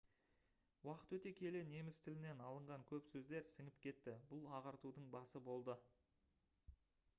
уақыт өте келе неміс тілінен алынған көп сөздер сіңіп кетті бұл ағартудың басы болды